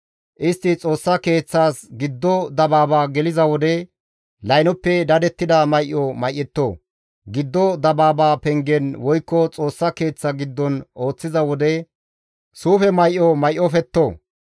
Istti Xoossa Keeththas giddo dabaaba geliza wode, laynoppe dadettida may7o may7etto; giddo dabaaba pengen woykko Xoossa Keeththa giddon ooththiza wode, suufe may7o may7ofetto.